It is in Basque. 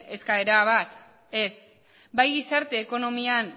eskaera bat ez bai gizarte ekonomian